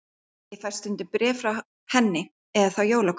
Ég fæ stundum bréf frá henni enn, eða þá jólakort.